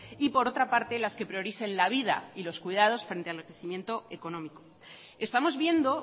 y por otra parte las que prioricen la vida y los cuidados frente al enriquecimiento económico estamos viendo